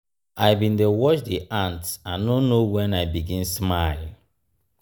i bin dey watch di ants i no know wen i begin smile.